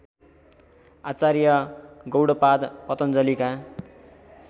Acharya Gaudapada पतञ्जलिका